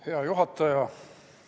Hea juhataja!